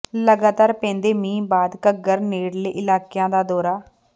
ਲਗਾਤਾਰ ਪੈਂਦੇ ਮੀਂਹ ਬਾਅਦ ਘੱਗਰ ਨੇੜਲੇ ਇਲਾਕਿਆਂ ਦਾ ਦੌਰਾ